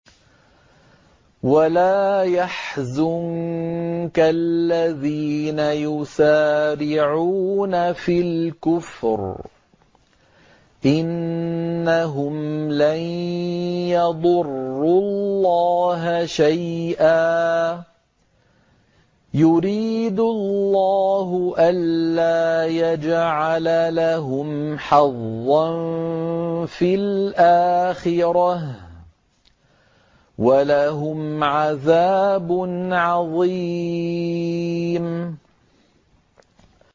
وَلَا يَحْزُنكَ الَّذِينَ يُسَارِعُونَ فِي الْكُفْرِ ۚ إِنَّهُمْ لَن يَضُرُّوا اللَّهَ شَيْئًا ۗ يُرِيدُ اللَّهُ أَلَّا يَجْعَلَ لَهُمْ حَظًّا فِي الْآخِرَةِ ۖ وَلَهُمْ عَذَابٌ عَظِيمٌ